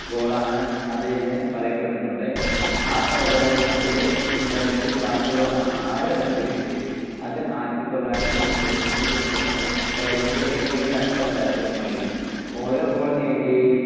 goal ആണ് അതെന്നു പറയപ്പെടുന്നുണ്ട്. ആ പ്രകടനത്തിന്റെ പിൻബലത്തിൽ ബാർസലോണ ആറ് - രണ്ട് ന് വിജയിച്ചു. അത് ആയിരത്തിത്തൊള്ളായിരത്തി മുപ്പത്തിയൊന്നിന് ശേഷം റയലിന്റെ ഏറ്റവും കനത്ത പരാജയമായിരുന്നു. ഓരോ goal